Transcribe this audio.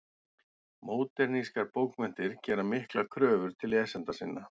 Módernískar bókmenntir gera miklar kröfur til lesenda sinna.